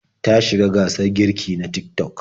Ta shiga gasar girki na Tik-tok.